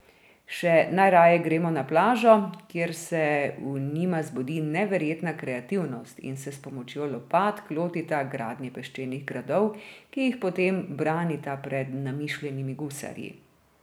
Še najraje gremo na plažo, kjer se v njima zbudi neverjetna kreativnost in se s pomočjo lopatk lotita gradnje peščenih gradov, ki jih potem branita pred namišljenimi gusarji.